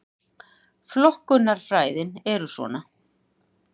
Flokkunarfræðin er svona: